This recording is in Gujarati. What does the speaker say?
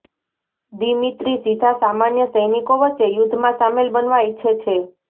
દિમિત્રી સીધા સામાન્ય સૈનિકો વચ્ચે યુદ્ધમાં સામેલ બનવા ઇચ્છે છે